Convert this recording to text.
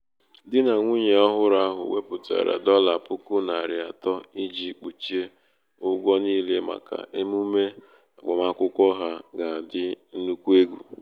di na nwunye ọhụrụ ahu weputara dollar puku nari ato iji kpuchie ụgwọ niile maka emume agbamakwụkwọ ha ga adi nnukwu egwu